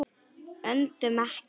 Öndum ekki.